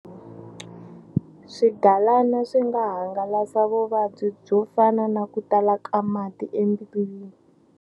Swigalana swi nga hangalasa vuvabyi byo fana na ku tala ka mati embilwini.